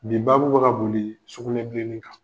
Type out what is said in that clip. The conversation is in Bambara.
Bi babu bɛ ka boli sugunɛbileni kan.